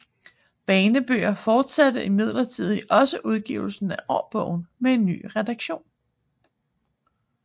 Banebøger fortsatte imidlertid også udgivelsen af årbogen med en ny redaktion